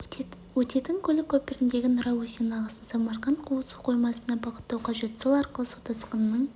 өтетін көлік көпіріндегі нұра өзенінің ағысын самарқанд су қоймасына бағыттау қажет сол арқылы су тасқынының